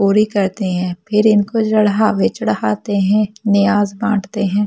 पूरी करते हैं फिर इनको जड़ा वे चढ़ाते हैं नियाज बांटते है।